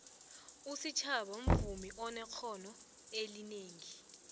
usitjhaba mvumi onexhono elinengi